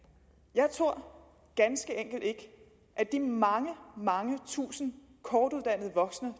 jeg tror ganske enkelt ikke at de mange mange tusinde kortuddannede voksne